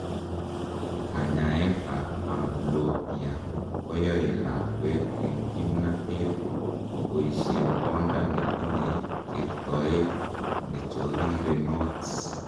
kanyaet ab amblyopia koyoe lakwet en kimnatet koboishen konda netinyei kertoet nechorirenot